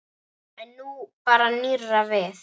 En nú bar nýrra við.